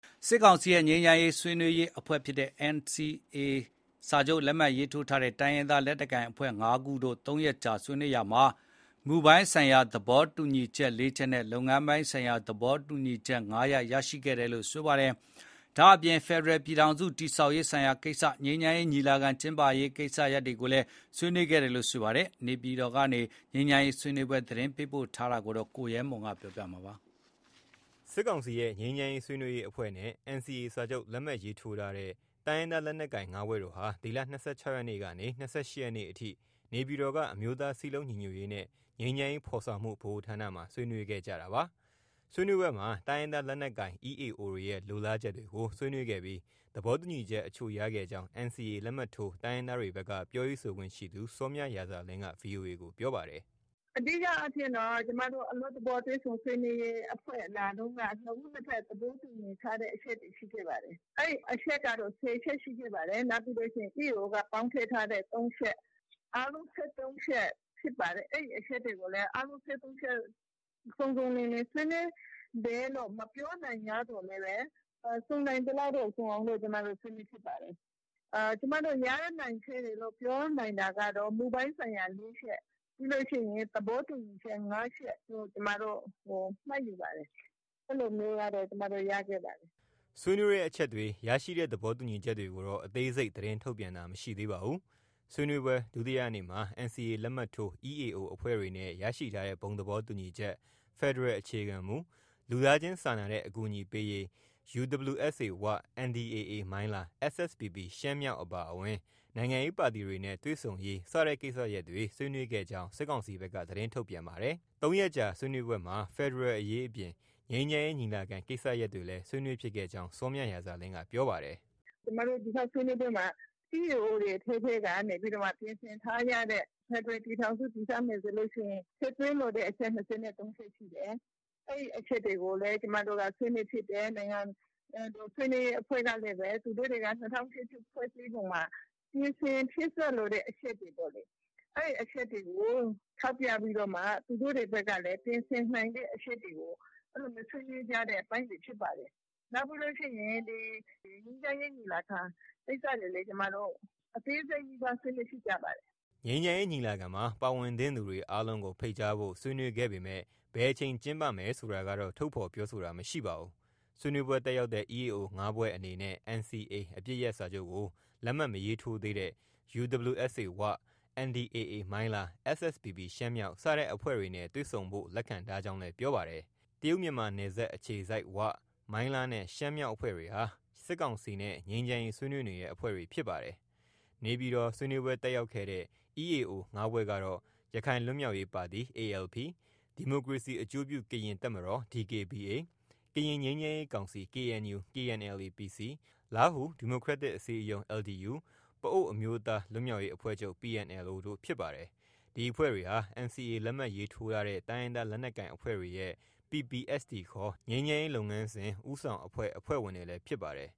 စစ်ကောင်စီရဲ့ ငြိမ်းချမ်းရေးဆွေးနွေးရေးအဖွဲ့နဲ့ NCA စာချုပ် လက်မှတ်ရေးထိုးထားတဲ့ တိုင်းရင်းသား လက်နက်ကိုင် ၅ဖွဲ့တို့ ဒီလ ၂၆ ရက်နေ့ကစလို့ ၃ရက်ကြာ ဆွေးနွေးခဲ့ကြတာမှာမူပိုင်းဆိုင်ရာ သဘောတူညီချက် ၄ချက်နဲ့ လုပ်ငန်းပိုင်းဆိုင်ရာ သဘောတူညီချက် ၅ချက် ရရှိခဲ့ပါတယ်။ နေပြည်တော်မှာလုပ်ခဲ့တဲ့ ဒီဆွေးနွေးပွဲအကြောင်းသတင်းပေးပို့ထားတာ ကိုရဲမွန်အောင် ပြောပြမှာပါ။ စစ်ကောင်စီရဲ့ ငြိမ်းချမ်းရေး ဆွေးနွေးရေးအဖွဲ့နဲ့ NCA စာချုပ် လက်မှတ်ရေးထိုးထားတဲ့ တိုင်းရင်းသား လက်နက်ကိုင် ၅ဖွဲ့တို့ ဟာ ဒီလ ၂၆ရက်နေ့ ကနေ ၂၈ရက်နေ့အထိနေပြည်တော်က အမျိုးသားစည်းလုံး ညီညွတ်ရေးနဲ့ ငြိမ်းချမ်းရေးဖော်ဆောင်မှုဗဟိုဌာနမှာ ဆွေးနွေးခဲ့ကြတာပါ။ ဆွေးနွေးပွဲမှာ တိုင်းရင်းသား လက်နက်ကိုင် (EAO)တွေရဲ့ လိုလားချက်တွေကို ဆွေးနွေးခဲ့ပြီး သဘောတူ ညီချက် အချို့ ရခဲ့ကြောင်း NCA လက်မှတ်ထိုးတိုင်းရင်းသားတွေဖက်က ပြောရေး ဆိုခွင့်ရှိသူ စောမြရာဇာလင်းက VOA ကို ပြောပါတယ်။ “ အဓိကအားဖြင့်တော့ ကျမတို့ အလွတ်သဘောတွေ့ဆုံဆွေးနွေးရေးအဖွဲ့လာတုံးကနှစ်ဦးနှစ်ဘက် သဘောတူညီထားတဲ့ အချက်တွေ ရှိခဲ့ပါတယ်။ အဲဒီအချက်ကတော့ ၁၀ချက်ရှိခဲ့ပါတယ်။ နောက်ပြီးရင် EAO က ပေါင်းထည့်ထားတဲ့ ၃ချက်။ အားလုံး၁၃ချက်ဖြစ်ပါတယ်။အဲဒီအချက်တွေကိုလည်း အားလုံး ၁၃ချက် စုံစုံလင်လင် ဆွေးနွေးတယ်လို့ မပြောနိုင်ငြားသော်လည်း စုံနိုင်သလောက်တော့ စုံအောင်လို့ ဆွေးနွေးဖြစ်ပါတယ်။ ကျမတို့ ရနိုင်ခဲ့တယ်လို့ ပြောနိုင်တာကတော့ မူပိုင်းဆိုင်ရာ ၄ချက်။ ပြီးလို့ရှိရင် သဘောတူညီချက် ၅ချက်လို့ ကျမတို့ မှတ်ယူပါတယ်။ အဲလိုမျိုးကတော့ ကျမတို့ ရခဲ့ပါတယ်။ ” ဆွေးနွေးတဲ့ အချက်တွေ၊ရရှိတဲ့ သဘောတူညီချက်တွေကိုတော့ အသေးစိတ်သတင်းထုတ်တာမရှိပါဘူး။ ဆွေးနွေးပွဲ ဒုတိယနေ့မှာ NCA လက်မှတ်ထိုး EAO အဖွဲ့တွေနဲ့ရရှိထားတဲ့ ဘုံသဘောတူညီချက် ၊ ဖက်ဒရယ်အခြေခံမူ ၊ လူသားချင်းစာနာတဲ့ အကူအညီပေးရေး၊ UWSA ဝ၊ NDAA မိုင်းလား၊ SSPP ရှမ်းမြောက်အပါအဝင် နိုင်ငံရေးပါတီတွေနဲ့ တွေ့ဆုံရေး စတဲ့ကိစ္စရပ်တွေ ဆွေးနွေးခဲ့ကြောင်း စစ်ကောင်စီဘက်က သတင်းထုတ်ပြန်ပါတယ်။ ၃ရက်ကြာဆွေးနွေးပွဲမှာဖက်ဒရယ်အရေးအပြင် ငြိမ်းချမ်းရေးညီလာခံ ကိစ္စရပ်တွေလည်း ဆွေးနွေးဖြစ်ခဲ့ကြောင်း စောမြရာဇာလင်းက ပြောပါတယ်။ “ ကျမတို့ ဆွေးနွေးပွဲမှာ EAO တွေအထဲမှာ ပြင်ဆင်ထားကြတဲ့ ဖက်ဒရယ်ပြည်ထောင်စု တည်ဆောက်မယ်ဆိုရင် ထည့်သွင်းလိုတဲ့အချက် ၂၃ချက် ရှိတယ်။ အဲဒီအချက်တွေကိုလည်း ကျမတို့က ဆွေးနွေးဖြစ်တယ်။ နိုင်ငံတော်ဆွေးနွေးရေးအဖွဲ့ကသူတို့တွေက ၂၀၀၈ ဖွဲ့စည်းပုံမှာ ပြင်ဆင်ဖြည့်စွက်လိုတဲ့ အချက်တွေ ပေါ့လေ။ အဲဒီအချက်တွေကို ထောက်ပြပြီးတော့ သူတို့တွေဘက်ကလည်း ပြင်ဆင်နိုင်တဲ့ အချက်တွေကို ဆွေးနွေးကြတဲ့အပိုင်းတွေဖြစ်ပါတယ်။နောက်ပြီးလို့ရှိရင် ငြိမ်းချမ်းရေးညီလာခံ ကိစ္စတွေကိုလည်း အသေးစိတ်နီးပါး ဆွေးနွေးဖြစ်ကြပါတယ်။ ” ငြိမ်းချမ်းရေးညီလာခံမှာပါဝင်သင့်သူတွေ အားလုံးကို ဖိတ်ကြားဖို့ ဆွေးနွေးခဲ့ပေမဲ့ဘယ်အချိန် ကျင်းပမယ် ဆိုတာကတော့ ထုတ်ဖော်ပြောဆိုတာ မရှိပါဘူး။ ဆွေးနွေးပွဲ တက်ရောက်တဲ့ EAO ၅ဖွဲ့ အနေနဲ့ NCA အပစ်ရပ်စာချုပ်ကို လက်မှတ် မရေးထိုးသေးတဲ့ UWSA ဝ၊ NDAA မိုင်းလား၊ SSPP ရှမ်းမြောက် စတဲ့အဖွဲ့တွေနဲ့ တွေ့ဆုံဖို့လက်ခံထားကြောင်းလည်း ပြောပါတယ်။ တရုတ်မြန်မာနယ်စပ်အခြေစိုက်ဝ၊ မိုင်းလားနဲ့ ရှမ်းမြောက် အဖွဲ့တွေဟာ စစ်ကောင်စီနဲ့ ငြိမ်းချမ်းရေး ဆွေးနွေးနေတဲ့ အဖွဲ့တွေ ဖြစ်ပါတယ်။ နေပြည်တော် ဆွေးနွေးပွဲ တက်ရောက်ခဲ့တဲ့ EAO ၅ဖွဲ့ ကတော့ ရခိုင်ပြည်လွတ်မြောက်ရေးပါတီ (ALP) ၊ ဒီမိုကရေစီအကျိုးပြု ကရင်တပ်မတော် (DKBA) ၊ ကရင် ငြိမ်းချမ်းရေးကောင်စီ (KNU/ KNLA- PC ) ၊လားဟူ ဒီမိုကရက်တစ်အစည်းအရုံး ( LDU )၊ ပအိုဝ်းအမျိုးသားလွတ်မြောက်ရေးအဖွဲ့ချုပ် (PNLO ) တို့ ဖြစ်ပါတယ်။ ဒီအဖွဲ့တွေဟာ NCA လက်မှတ်ရေးထိုးထားတဲ့ တိုင်းရင်းသားလက်နက်ကိုင်အဖွဲ့တွေရဲ့ PPST ခေါ် ငြိမ်းချမ်းရေးလုပ်ငန်းစဉ် ဦးဆောင်အဖွဲ့ အဖွဲ့ဝင်တွေလည်း ဖြစ်ပါတယ်